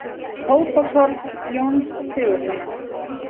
Tóbakshorn Jóns Sigurðssonar.